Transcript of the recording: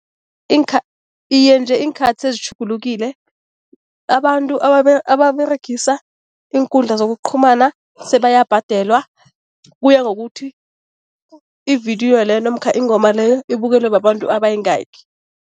Iye, nje iinkhathi sezitjhugulukile, abantu ababeregisa iinkundla zokuqhumana sebayabhadelwa, kuya ngokuthi ividiyo leyo namkha ingoma leyo ibukelwe babantu abayingaki.